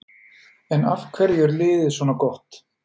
En af hverju er liðið svona gott?